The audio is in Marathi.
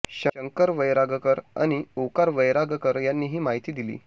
शंकर वैरागकर आणि ओंकार वैरागकर यांनी ही माहिती दिली